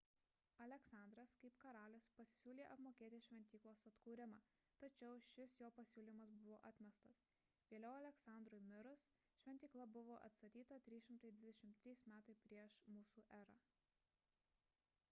aleksandras kaip karalius pasisiūlė apmokėti šventyklos atkūrimą tačiau šis jo pasiūlymas buvo atmestas vėliau aleksandrui mirus šventykla buvo atstatyta 323 m pr m e